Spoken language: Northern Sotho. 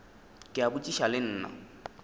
ke a botšiša le nna